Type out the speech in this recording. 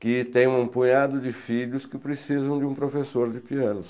que tem um punhado de filhos que precisam de um professor de piano.